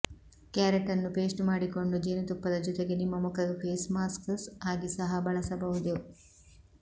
ಕ್ಯಾರೆಟನ್ನು paste ಮಾಡಿಕೊಂಡು ಜೇನುತುಪ್ಪದ ಜೊತೆಗೆ ನಿಮ್ಮ ಮುಖಕ್ಕೆ ಫೇಸ್ ಮಾಸ್ಕ್ ಆಗಿ ಸಹ ಬಳಸಬಹುದು